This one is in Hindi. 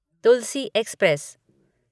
तुलसी एक्सप्रेस